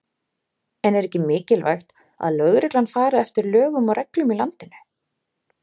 En er ekki mikilvægt að lögreglan fari eftir lögum og reglum í landinu?